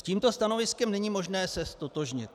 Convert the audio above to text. S tímto stanoviskem není možné se ztotožnit.